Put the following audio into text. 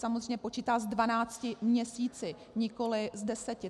Samozřejmě počítá s dvanácti měsíci, nikoliv s deseti.